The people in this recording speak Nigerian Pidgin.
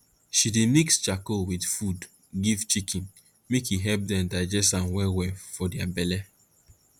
she dey mix charcoal with food give chicken make e help dem digest am well well for their belle